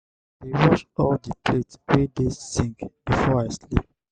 i dey wash all di plates wey dey sink before i sleep.